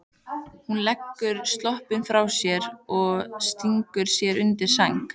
Hún leggur sloppinn frá sér og stingur sér undir sængina.